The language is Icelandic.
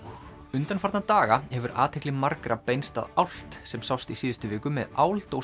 undanfarna daga hefur athygli margra beinst að álft sem sást í síðustu viku með